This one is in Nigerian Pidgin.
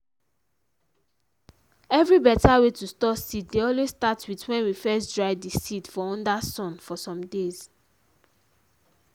every beta way to store seed dey always start with wen we first dry di seed for under sun for some days.